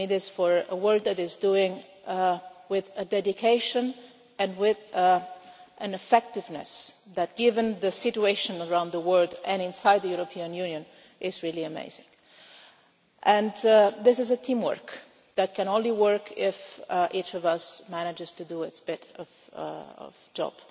for the work that he is doing with a dedication and an effectiveness that, given the situation around the world and inside the European Union, is really amazing. This is a team work that can only work if each of us manages to do our bit of the job